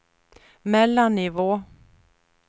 mellannivå